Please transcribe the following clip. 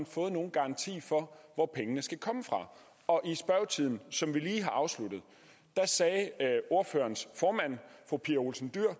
fået nogen garanti for hvor pengene skal komme fra og i spørgetimen som vi lige har afsluttet sagde ordførerens formand fru pia olsen dyhr